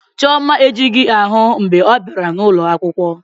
Chioma ejighị ahụ mgbe ọ bịara ụlọ akwụkwọ